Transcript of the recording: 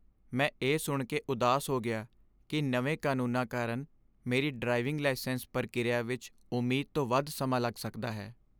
ਮੈਂ ਇਹ ਸੁਣ ਕੇ ਉਦਾਸ ਹੋ ਗਿਆ ਕਿ ਨਵੇਂ ਕਾਨੂੰਨਾਂ ਕਾਰਨ ਮੇਰੀ ਡਰਾਈਵਿੰਗ ਲਾਇਸੈਂਸ ਪ੍ਰਕਿਰਿਆ ਵਿੱਚ ਉਮੀਦ ਤੋਂ ਵੱਧ ਸਮਾਂ ਲੱਗ ਸਕਦਾ ਹੈ।